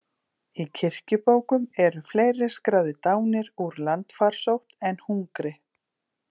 Í kirkjubókum eru fleiri skráðir dánir úr landfarsótt en hungri.